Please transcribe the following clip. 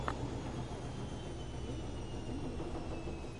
концерт николь крэзи фэмили ютьюб